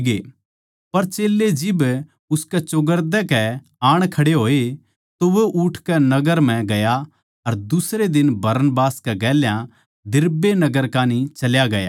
पर चेल्लें जिब उसकै चौगरदेकै आण खड़े होए तो वो उठकै नगर म्ह गया अर दुसरे दिन बरनबास कै गेल्या दिरबे नगर कान्ही चल्या गया